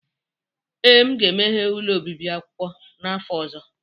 Ee, m ga-emeghe ụlọ obibi akwụkwọ n'afọ ọzọ.